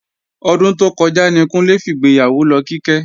Ọdún tó kọjá ní Kúnlé fìgbéyàwó lọ Kíkẹ́